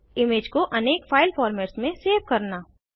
image को अनेक file formats में सेव करना